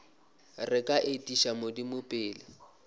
re ka etiša modimo pele